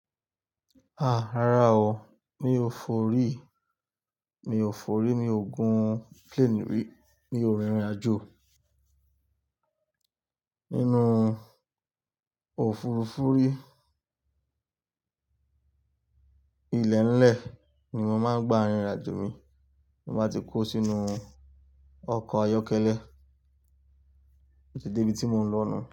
A! Rárá o, mi ò fori, mi ò fori mi ogun plane rí, mi òrìn ìrìn àjò. Nínú ofurufuri ilẹ̀-nlẹ̀ ni mo máa gba rìn àjò mi, mo ma ti kó sínú ọkọ̀ ayọ́kẹ́lẹ́, mo ti débi tí mo ń lọ náà.